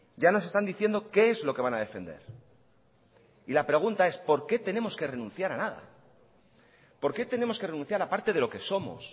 ya nos están diciendo qué es lo que van a defender y la pregunta es por qué tenemos que renunciar a nada por qué tenemos que renunciar a parte de lo que somos